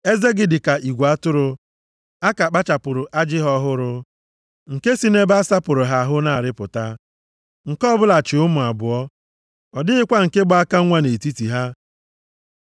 Eze gị dị ka igwe atụrụ a ka kpachapụrụ ajị ha ọhụrụ, nke si nʼebe a sapụrụ ha ahụ na-arịpụta. Nke ọbụla chi ụmụ abụọ, ọ dịghịkwa nke gba aka nwa nʼetiti ha.